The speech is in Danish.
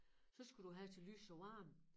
Så skal du have til lys og varme